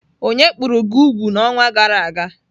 Onye kpụrụ gị úgwù n'ọnwa gara aga?